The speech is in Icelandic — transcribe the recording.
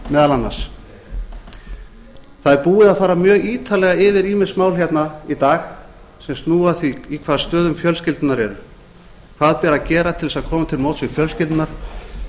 meðal annars það er búið að fara mjög ítarlega yfir ýmis mál hérna í dag sem snúa að því í hvaða stöðu fjölskyldurnar eru hvað ber að gera til þess að koma til móts við fjölskyldurnar